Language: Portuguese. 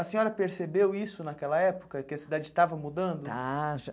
A senhora percebeu isso naquela época, que a cidade estava mudando? Está já